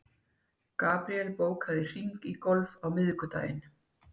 Gabríel, bókaðu hring í golf á miðvikudaginn.